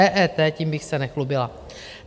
EET, tím bych se nechlubila.